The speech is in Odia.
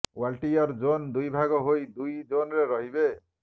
ୱାଲଟିୟର ଜୋନ୍ ଦୁଇ ଭାଗ ହୋଇ ଦୁଇ ଜୋନରେ ରହିବେ